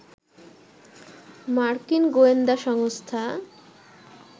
মার্কিন গোয়েন্দা সংস্থা